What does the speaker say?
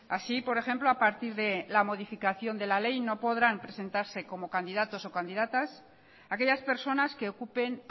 así por ejemplo a partir de la modificación de la ley no podrán presentarse como candidatos o candidatas aquellas personas que ocupen